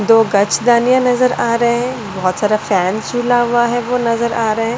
दो गाछ दानिया नजर आ रहे हैं बहुत सारा फैन झुला हुआ है वो नजर आ रहा है।